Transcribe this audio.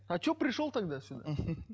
а что пришел тогда сюда